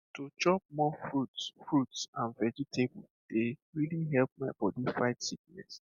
to chop more fruits fruits and vegetable dey really help my body fight sickness